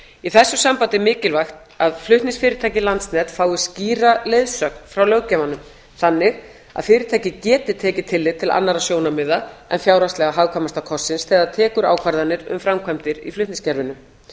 í þessu sambandi er mikilvægt að flutningsfyrirtækið landsnet fái skýra leiðsögn frá löggjafanum þannig að fyrirtækið geti tekið tillit til annarra sjónarmiða en fjárhagslega hagkvæmasta kostsins þegar það tekur ákvarðanir um framkvæmdir í flutningskerfinu